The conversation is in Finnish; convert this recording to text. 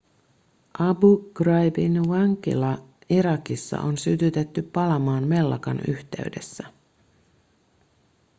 abu ghraibin vankila irakissa on sytytetty palamaan mellakan yhteydessä